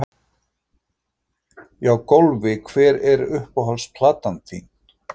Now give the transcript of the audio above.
Já Golfi Hver er uppáhalds platan þín?